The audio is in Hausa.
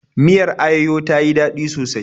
Miyar ayoyo ta yi daɗi sosai.